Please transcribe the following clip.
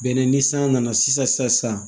Bɛnɛ ni san nana sisan